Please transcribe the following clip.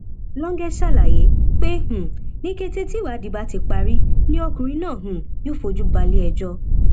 lọńgẹ ṣàlàyé pé um ní kété tíwádìí bá ti parí ni ọkùnrin náà um yóò fojú balẹ ẹjọ